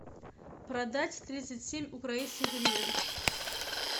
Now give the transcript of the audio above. продать тридцать семь украинских гривен